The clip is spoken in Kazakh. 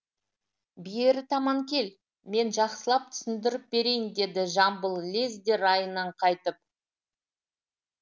бері таман кел мен жақсылап түсіндіріп берейін деді жамбыл лезде райынан қайтып